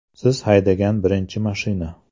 Siz haydagan birinchi mashina?